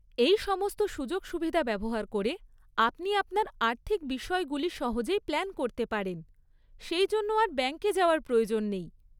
এই সমস্ত সুযোগ সুবিধা ব্যবহার করে আপনি আপনার আর্থিক বিষয়গুলি সহজেই প্ল্যান করতে পারেন, সেইজন্য আর ব্যাংকে যাওয়ার প্রয়োজন নেই।